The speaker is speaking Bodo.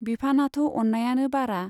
बिफानाथ' अन्नायानो बारा।